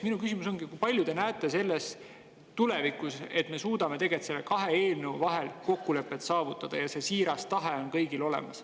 Minu küsimus on, kas te näete, et me suudame tulevikus nende kahe eelnõu kohta kokkuleppe saavutada ja see siiras tahe on kõigil olemas.